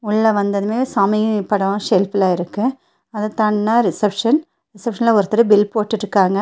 உள்ள வந்ததுமே சாமி படோ ஷெல்ஃப்ல இருக்கு அதத்தான்னா ரிசப்ஷன் ரிசப்ஷன்ல ஒருத்தரு பில் போட்டுட்ருக்காங்க.